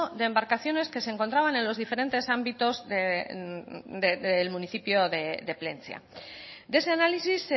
de embarcaciones que se encontraban en los diferentes ámbitos del municipio de plentzia de ese análisis